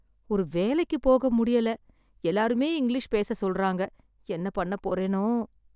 ஒரு வேலைக்கு போக முடியல, எல்லாருமே இங்கிலீஷ் பேச சொல்ராங்க, என்ன பண்ண போறேனோ.